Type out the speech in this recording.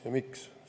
Ja miks?